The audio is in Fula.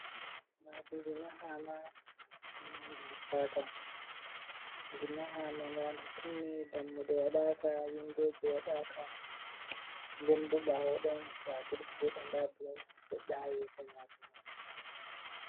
Maadi ndi mahaama ammaa ndi hippaaka, ndi mahaama ndaa ndi timmi, dammuɗe waɗaaka, windooji waɗaaka, nden boo ɓaawo ɗon to a difiti seɗɗa ndaa bulok seɗɗa haa yeso maadi mani.